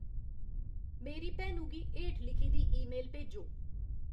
मेरी भैनु गी हेठ लिखी दी ईमेल भेजो